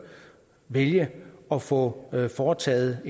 vælge at få foretaget